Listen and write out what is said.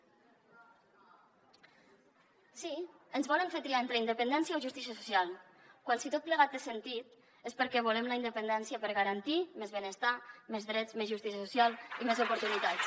sí ens volen fer triar entre independència o justícia social quan si tot plegat té sentit és perquè volem la independència per garantir més benestar més drets més justícia social i més oportunitats